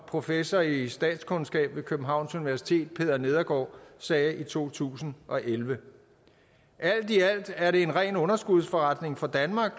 professor i statskundskab ved københavns universitet peter nedergaard sagde i to tusind og elleve alt i alt er det en ren underskudsforretning for danmark